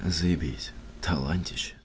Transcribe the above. заебись талантище